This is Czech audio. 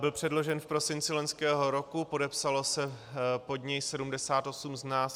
Byl předložen v prosinci loňského roku, podepsalo se pod něj 78 z nás.